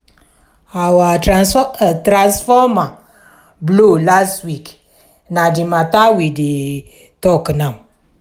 our transformer blow last week na di mata we dey tok now.